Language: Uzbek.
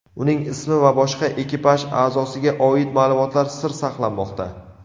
Uning ismi va boshqa ekipaj a’zosiga oid ma’lumotlar sir saqlanmoqda.